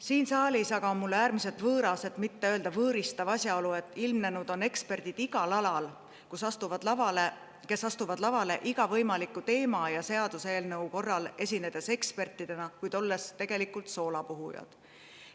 Siin saalis on mulle äärmiselt võõras, et mitte öelda võõristav asjaolu, et ilmnenud on eksperdid igal alal, kes astuvad lavale iga teema ja seaduseelnõu korral, esinedes ekspertidena, kuid olles tegelikult soolapuhujad.